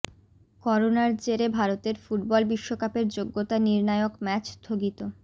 করোনার জেরে ভারতের ফুটবল বিশ্বকাপের যোগ্যতা নির্ণায়ক ম্যাচ স্থগিত